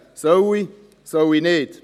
«Soll ich, soll ich nicht?».